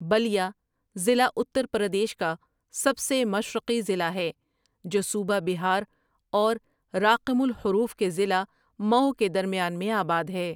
بٙلْیا ضلع اتر پردیش کا سب سے مشرقی ضلع ہے جو صوبہ بہار اور راقم الحروف کے ضلع مئو کے درمیان میں آباد ہے ۔